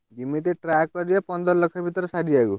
ଯିମିତି try କରିବ ପନ୍ଦର ଲକ୍ଷ୍ ଭିତେରେ ସାରିଆକୁ।